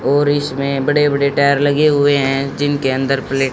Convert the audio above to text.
और इसमें बड़े बड़े टायर लगे हुए हैं जिनके अंदर प्ले--